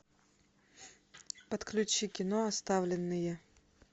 подключи кино оставленные